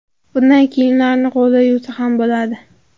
Bunday kiyimlarni qo‘lda yuvsa ham bo‘ladi.